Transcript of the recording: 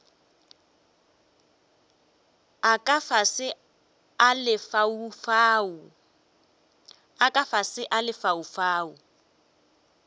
a ka fase a lefaufau